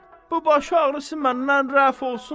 bu başağrısı məndən rəf olsun.